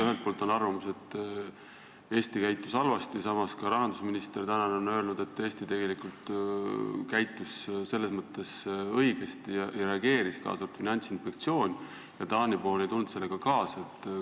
Ühelt poolt on arvamus, et Eesti käitus halvasti, samas on ka tänane rahandusminister öelnud, et Eesti käitus ja reageeris õigesti, kaasa arvatud Finantsinspektsioon, aga Taani pool ei tulnud sellega kaasa.